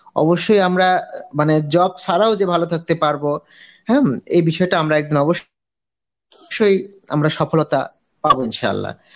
অবশ্যই আমরা মানে job ছাড়াও যে ভালো থাকতে পারবো হম এই বিষয়টা আমরা একদিন অবশ্য~ শ্যই আমরা সফলতা পাব ইনশা আল্লাহ.